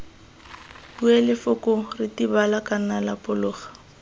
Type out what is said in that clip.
bue lefoko ritibala kana lapologa